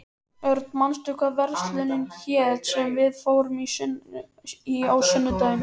Örn, manstu hvað verslunin hét sem við fórum í á sunnudaginn?